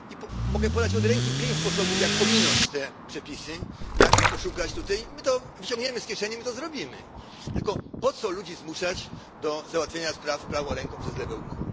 I mogę podać od ręki pięć sposobów, jak ominąć te przepisy, jak oszukać w tym przypadku. I my to wyciągniemy z kieszeni, my to zrobimy, tylko po co ludzi zmuszać do załatwienia spraw prawą ręką przez lewe ucho.